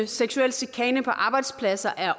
seksuel chikane på arbejdspladser er